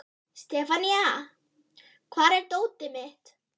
Sefanía, hvar er dótið mitt?